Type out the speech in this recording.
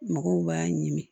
Mɔgɔw b'a ɲimi